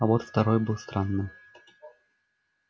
а вот второй был странным